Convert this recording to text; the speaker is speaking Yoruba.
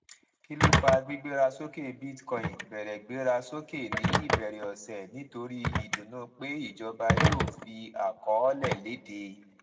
kí ló fà gbígbéra sókè bitcoin bẹrẹ gbéra sókè ní ìbẹrẹ ọsẹ nítorí ìdùnnú pé ìjọba yíò fi àkọọlẹ léde